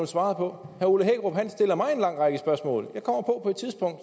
svaret på herre ole hækkerup stiller mig en lang række spørgsmål men og